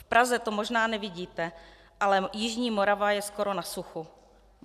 V Praze to možná nevidíte, ale jižní Morava je skoro na suchu.